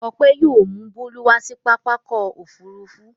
Ọpẹ́ yóò mú Bólú wá sí pápá ọkọ̀-òfurufú.